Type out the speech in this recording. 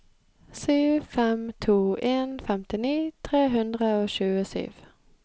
sju fem to en femtini tre hundre og tjuesju